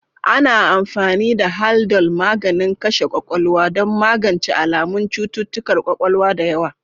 Ana amfani da Haldol, maganin kashe ƙwaƙwalwa, don magance alamun cututtukan ƙwaƙwalwa da yawa.